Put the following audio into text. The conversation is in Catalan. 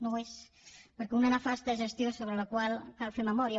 no n’és perquè una nefasta gestió sobre la qual cal fer memòria